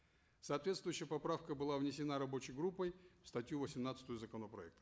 соответствующая поправка была внесена рабочей группой в статью восемнадцатую законопроекта